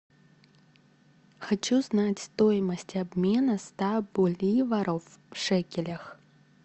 хочу знать стоимость обмена ста боливаров в шекелях